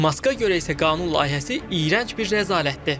Maska görə isə qanun layihəsi iyrənc bir rəzalətdir.